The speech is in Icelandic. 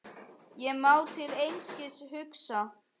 Ég má til einskis hugsa.